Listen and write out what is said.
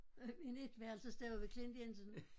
En etværelses derude ved Klint Jensen